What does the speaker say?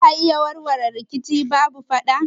Za a iya warware rikici babu fada?